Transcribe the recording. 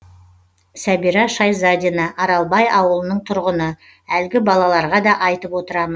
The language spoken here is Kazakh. сәбира шайзадина аралбай ауылының тұрғыны әлгі балаларға да айтып отырамын